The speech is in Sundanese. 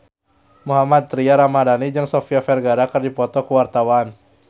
Mohammad Tria Ramadhani jeung Sofia Vergara keur dipoto ku wartawan